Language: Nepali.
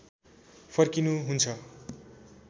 फर्किनु हुन्छ